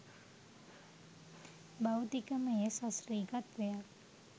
භෞතිකමය සශ්‍රීකත්වයක්